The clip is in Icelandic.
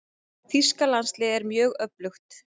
Þýska landsliðið er mjög öflugt.